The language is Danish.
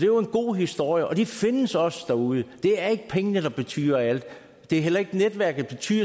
jo en god historie og de findes også derude det er ikke pengene der betyder alt det er heller ikke netværket selv